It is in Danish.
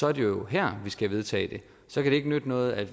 er det jo her vi skal vedtage det så kan det ikke nytte noget at